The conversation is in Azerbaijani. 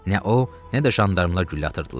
Nə o, nə də jandarmalar güllə atırdılar.